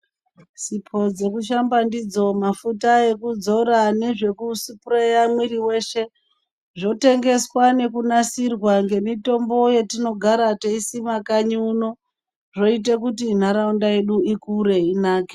Sipo dzekushamba ndidzo, mafuta ekuzora nezvekusipureya muviri weshe zvotengwa nekunasirwa nemitombo yatino gare teisima kanyi kuno, zvoite kuti nharaunda yedu ikure inake.